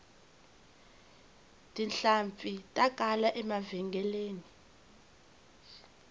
tihlampfi ta kala emavhengeleni